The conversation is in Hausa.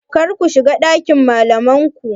Karku shiga ɗakin malamai ku.